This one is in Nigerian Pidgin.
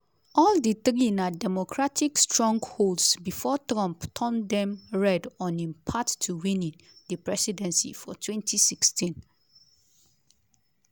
all di three na democratic strongholds before trump turn dem red on im path to winning di presidency for 2016.